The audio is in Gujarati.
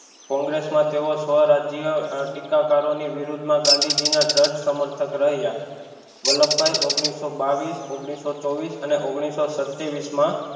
કોંગ્રેસ માં તેઓ સ્વ રાજ્ય ટિક્કાકારો ની વિરુદ્ધ માં ગાંધીજી ના દ્રઢ સમર્થક રહ્યા વલ્લભભાઈ ઓગનીશો બાવીશ ઓગનીશો ચોવીશ અને ઓગનીશો સત્યાવીશ માં